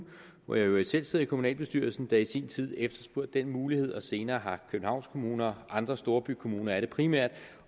hvor jeg i øvrigt selv sidder i kommunalbestyrelsen der i sin tid efterspurgte den mulighed og senere har københavns kommune og andre storbykommuner som det primært